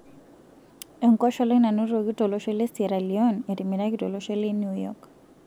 Enkosholai nanotoki tolosho le Sierra Leone etimiraki tolosho le New York.